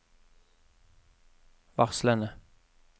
varslene